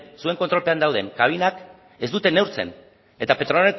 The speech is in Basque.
zuen kontrolpean dauden kabinak ez dute neurtzen eta petronorren